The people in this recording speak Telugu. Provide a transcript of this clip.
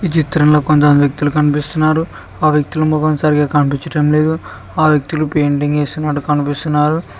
చిత్రంలో కొంతమంది వ్యక్తులు కనిపిస్తున్నారు ఆ వ్యక్తుల మొఖం సరిగా కనిపిచటం లేదు ఆ వ్యక్తులు పెయింటింగ్ ఎస్తున్నట్టు కనిపిస్తున్నారు.